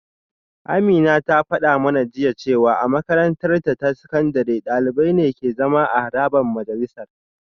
Amina ta fada mana jiya cewa a makarantarta ta sakandare dalibai ne ke zama a harabar majalisar